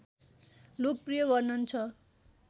लोकप्रिय वर्णन छ